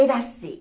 Era assim.